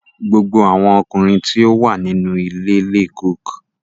Gbogbo awọn ọkunrin ti o wa ninu ile le cook